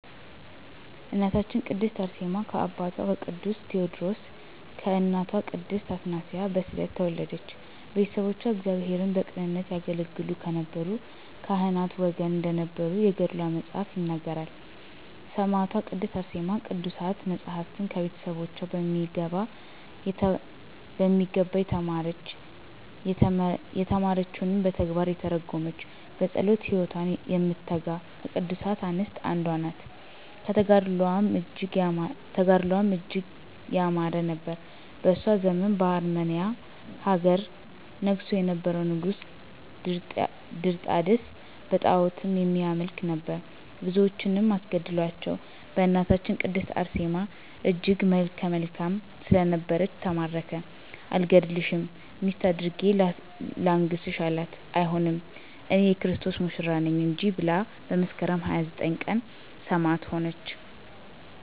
እናታችን ቅድስት አርሴማ ከአባቷ ከቅዱስ ቴወድሮስ ከእናቷ ቅድስት አትናስያ በስዕለት ተወለደች። ቤተሰቦቿ እግዚአብሔርን በቅንነት ያገለገሉ ከነበሩ ካህናት ወገን እንደነበሩ የገድሏ መፅሀፍ ይነግረናል። ሰማዕቷ ቅድስት አርሴማ ቅዱሳት መፃፍትን ከቤተሰቦቿ በሚገባ የተማረች፤ የተማረችዉንም በተግባር የተረጎመች፤ በፀሎት ህይወት የምትተጋ ከቅዱሳት አንስት አንዷ ናት። ተጋድሎዋም እጅግ ያማረ ነበር። በእሷ ዘመን በአርመንያ ሀገር ነግሶ የነበረዉ ንጉስም ድርጣድስ በጣዖትም የሚያመልክ ነበር። ብዙዎችንም አስገደላቸዉ በእናታችን ቅድስት አርሴማም እጅግ መልከ መልካም ስለነበረች ተማረከ አልገድልሽም ሚስቴ አድርጌ ላንግስሽ አላት አይሆንም እኔ<የክርስቶስ ሙሽራ ነኝ >እንጂ ብላ መስከረም 29 ቀን ሰማዕት ሆነች።